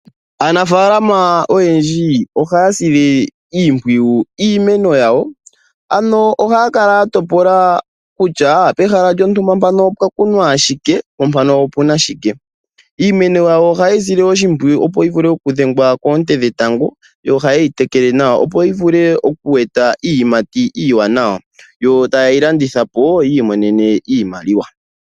Aanafaalama oyendji ohaya sile iimpwiyu iimeno yawo. Ano ohaya kala ya topoka kutya, pehala lyontumba mpano opwa kunwa shike, po mpano opuna shike. Iimeno yawo ohaye yi sile oshimpwiyu opo yi vule oku dhengwa koonte dhetango, you ohayeyi teleke nawa opo yi vule okweeta iiyimati iiwanawa, yo tayeyi landithapo, yi imonene iimaliwa.